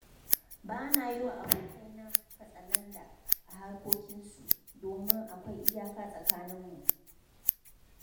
Ba na yi wa abokaina katsalandan a harkokinsu, domin akwai iyaka a tsakaninmu.